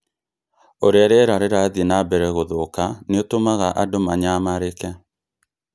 Ũrĩa rĩera rĩrathiĩ na mbere gũthũka nĩ ũtũmaga andũ manyamarĩke